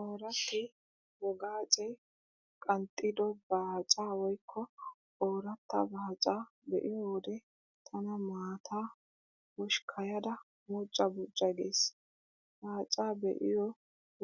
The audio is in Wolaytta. Ooratti wogaacee qanxxido baacaa woykko ooratta baacaa be'iyo wode tana maataa hoshkkayada buucca buucca gees. Baacaa be'iyo